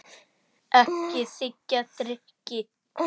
Ekki þiggja drykki.